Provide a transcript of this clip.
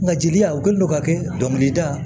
Nka jeliya u kɛlen don ka kɛ dɔnkilida